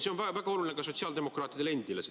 See teadmine on väga oluline ka sotsiaaldemokraatidele endile.